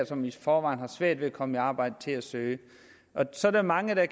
som i forvejen har svært ved at komme i arbejde til at søge så er der mange der